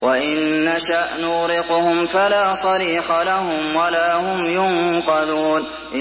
وَإِن نَّشَأْ نُغْرِقْهُمْ فَلَا صَرِيخَ لَهُمْ وَلَا هُمْ يُنقَذُونَ